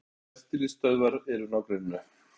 Veitingastaðir og eftirlitsstöðvar eru í nágrenninu